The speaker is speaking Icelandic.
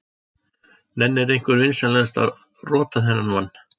Nennir einhver vinsamlegast að rota þennan mann.